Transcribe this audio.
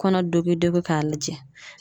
Kɔnɔ dogi dogi k'a lajɛ.